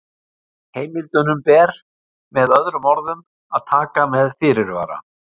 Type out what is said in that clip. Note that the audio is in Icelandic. Heimildunum ber, með öðrum orðum, að taka með fyrirvara.